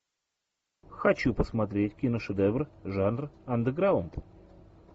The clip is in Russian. хочу посмотреть киношедевр жанр андеграунд